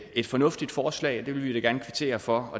et fornuftigt forslag og det vil vi da gerne kvittere for